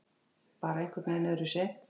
Bara einhvernveginn öðruvísi.